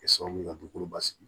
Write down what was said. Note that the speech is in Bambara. Kɛ sababu ye ka dugukolo basigi